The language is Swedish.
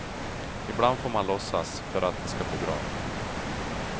Ibland får man låtsas, för att det ska bli bra.